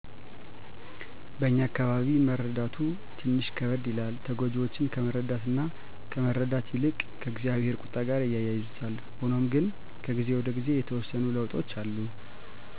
በእኛ አካባቢ መረዳቱ ትንሽ ከበደ ይላል። ተጎጅወችን ከመረዳት እና ከመረዳት ይልቅ ከ እግዚአብሄር ቁጣ ጋር ያያይዙታል። ሁኖም ግነ ከጊዜ ወደ ጊዜ የተወሰኑ ለዉጦች አሉ